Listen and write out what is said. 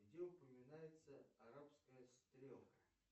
где упоминается арабская стрелка